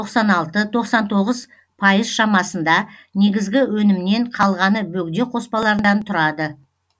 тоқсан алты тоқсан тоғыз пайыз шамасында негізгі өнімнен қалғаны бөгде қоспалардан тұрады